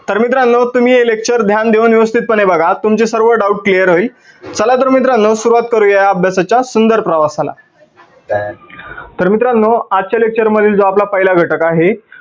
तर मित्रांनो तुम्ही हे lecture ध्यान देऊन व्यवस्थित पाने बघा आज तुमचे सर्व doubt clear होईल. चला तर मित्रांनो सुरुवात करूया अभ्यासाच्या सुंदर प्रवासाला तर मित्रांनो आजच्या lecture मध्ये जो आपला पहिला घटक आहे